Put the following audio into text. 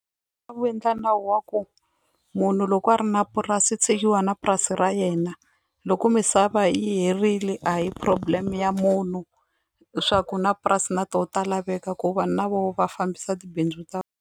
endla nawu wa ku munhu loko a ri na purasi i tshikiwa na purasi ra yena loko misava yi herile a hi problem ya munhu swa ku na purasi na to ta laveka ku vanhu na vo va fambisa tibindzu ta .